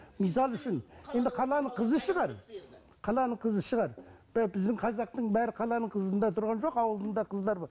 мысалы үшін енді қаланың қызы шығар қаланың қызы шығар біздің қазақтың бәрі қаланың қызында тұрған жоқ ауылдың да қыздар